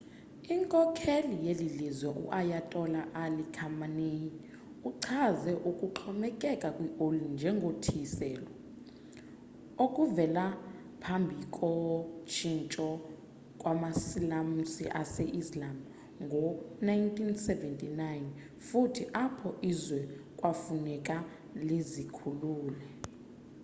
inkokheli yelilizwe u-ayatola ali khamenei uchaze ukuxhomekeka kwi oli njengo thiyiselwa okuvela phambhiko tshintsho kwamasilamusi ase-islam ngo1979 futhi apho izwe kwafuneka lizikhulule